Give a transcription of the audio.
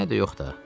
Mənə də yox da.